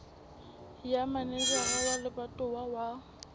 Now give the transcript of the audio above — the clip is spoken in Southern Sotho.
ya manejara wa lebatowa wa